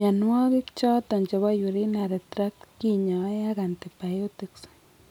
Mnyanuaigik choton chebo Urinary tract kinyae ak antibiotics